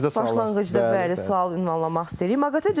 Başlanğıcda bəli, sual ünvanlamaq istəyirik.